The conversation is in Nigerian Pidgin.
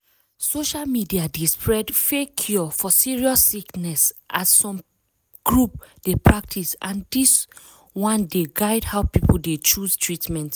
social media dey spread fake cure for serious sickness as some groups dey practice and dis one dey guide how people dey chose treatment.